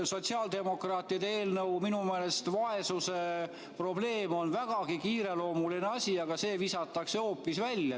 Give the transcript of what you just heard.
Sotsiaaldemokraatide eelnõu – minu meelest vaesuse probleem on vägagi kiireloomuline asi – visatakse hoopis välja.